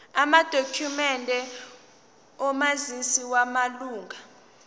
amadokhumende omazisi wamalunga